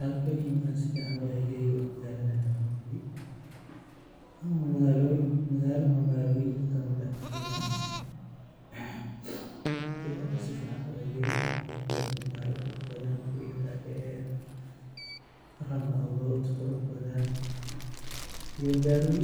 halkani markaan si fiican u eegay wa magaalada Nairobi, magaalo magaaloyinka ka mid ah Kenya, markaan si fiican u eegay wa magaalo qurux badan guriyo dhaa dheer, round about qurux badan iyo gawaari